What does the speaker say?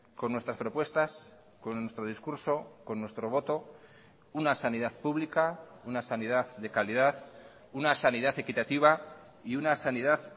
con nuestras propuestas con nuestro discurso con nuestro voto una sanidad pública una sanidad de calidad una sanidad equitativa y una sanidad